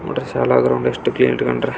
ನೋಡ್ರಿ ಶಾಲಾ ಗ್ರೌಂಡ್ ಎಷ್ಟು ಕ್ಲೀನ್ ಇಟ್ಟುಕೊಂಡರೆ.